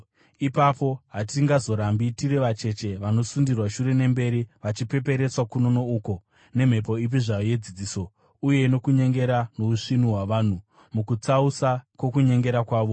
Ipapo hatingazorambi tiri vacheche, vanosundirwa shure nemberi vachipeperetswa kuno nouko nemhepo ipi zvayo yedzidziso, uye nokunyengera nousvinu hwavanhu mukutsausa kwokunyengera kwavo.